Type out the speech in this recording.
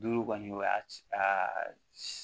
Duuru kɔni o y'a ci aa